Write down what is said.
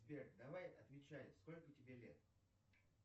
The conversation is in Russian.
сбер давай отвечай сколько тебе лет